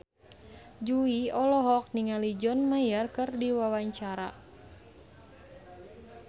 Jui olohok ningali John Mayer keur diwawancara